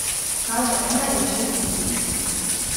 Kaže ena in šestintrideset.